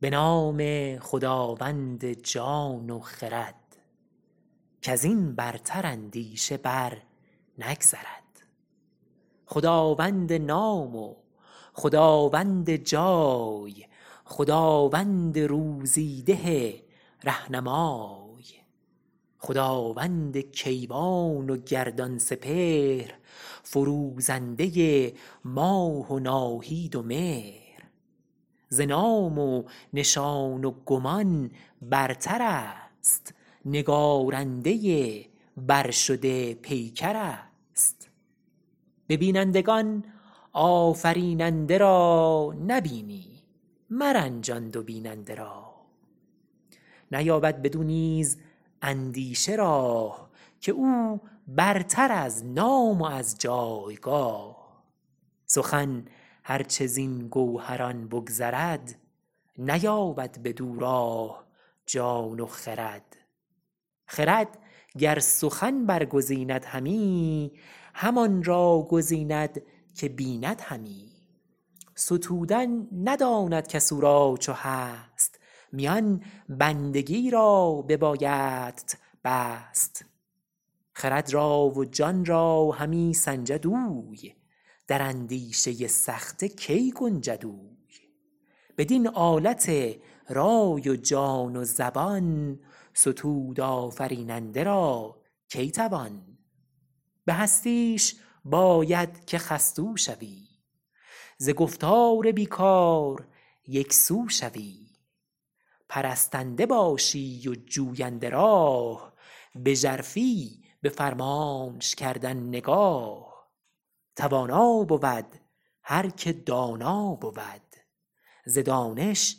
به نام خداوند جان و خرد کز این برتر اندیشه بر نگذرد خداوند نام و خداوند جای خداوند روزی ده رهنمای خداوند کیوان و گردان سپهر فروزنده ماه و ناهید و مهر ز نام و نشان و گمان برتر است نگارنده برشده پیکر است به بینندگان آفریننده را نبینی مرنجان دو بیننده را نیابد بدو نیز اندیشه راه که او برتر از نام و از جایگاه سخن هر چه زین گوهران بگذرد نیابد بدو راه جان و خرد خرد گر سخن برگزیند همی همان را گزیند که بیند همی ستودن نداند کس او را چو هست میان بندگی را ببایدت بست خرد را و جان را همی سنجد اوی در اندیشه سخته کی گنجد اوی بدین آلت رای و جان و زبان ستود آفریننده را کی توان به هستیش باید که خستو شوی ز گفتار بی کار یکسو شوی پرستنده باشی و جوینده راه به ژرفی به فرمانش کردن نگاه توانا بود هر که دانا بود ز دانش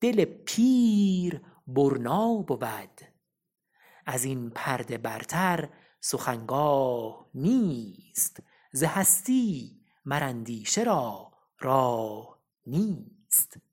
دل پیر برنا بود از این پرده برتر سخن گاه نیست ز هستی مر اندیشه را راه نیست